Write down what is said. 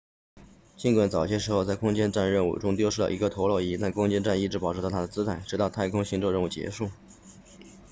尽管早些时候在空间站任务中丢失了一个陀螺仪但空间站一直保持着它的姿态直到太空行走任务结束